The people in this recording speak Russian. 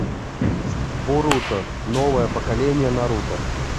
боруто новое поколение наруто